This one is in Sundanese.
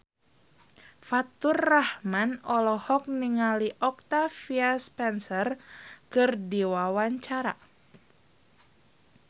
Faturrahman olohok ningali Octavia Spencer keur diwawancara